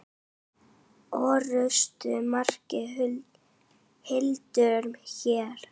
Orrusta merkir hildur hér.